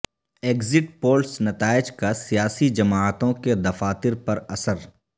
exit polls نتائج کا سیاسی جماعتوں کے دفاتر پر اثر